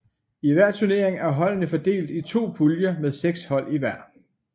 I hver turnering er holdene fordelt i to puljer med seks hold i hver